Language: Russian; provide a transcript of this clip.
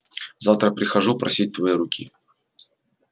завтра прихожу просить твоей руки